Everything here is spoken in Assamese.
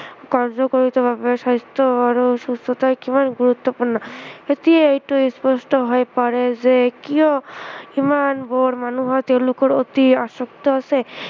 বাবে স্ৱাস্থ্য় আৰু সুস্থতা কিমান গুৰুত্ৱপূৰ্ণ, এতিয়া এইটো স্পষ্ট হৈ পৰে যে কিয় ইমানবোৰ মানুহ তেওঁলোকৰ প্ৰতি আসক্ত আছে